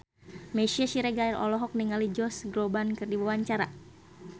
Meisya Siregar olohok ningali Josh Groban keur diwawancara